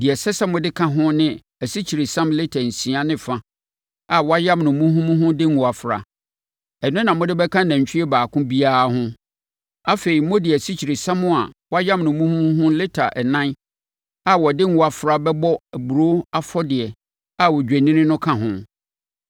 Deɛ ɛsɛ sɛ mode ka ho ne asikyiresiam lita nsia ne ɛfa a wɔayam no muhumuhu de ngo afra. Ɛno na mode bɛka nantwie baako biara ho. Afei, mode asikyiresiam a wɔayam no muhumuhu lita ɛnan a wɔde ngo afra bɛbɔ aburoo afɔdeɛ a odwennini no ka ho;